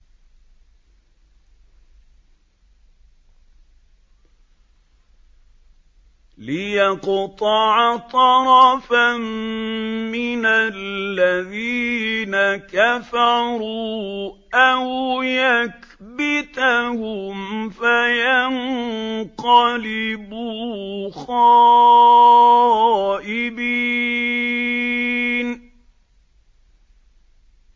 لِيَقْطَعَ طَرَفًا مِّنَ الَّذِينَ كَفَرُوا أَوْ يَكْبِتَهُمْ فَيَنقَلِبُوا خَائِبِينَ